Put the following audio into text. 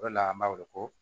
O de la an b'a weele ko